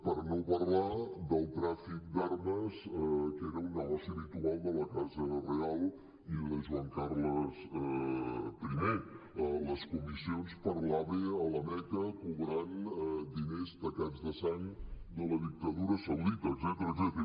per no parlar del tràfic d’armes que era un negoci habitual de la casa reial i de joan carles i les comissions per l’ave a la meca cobrant diners tacats de sang de la dictadura saudita etcètera